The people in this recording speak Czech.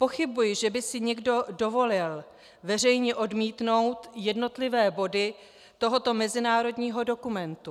Pochybuji, že by si někdo dovolil veřejně odmítnout jednotlivé body tohoto mezinárodního dokumentu.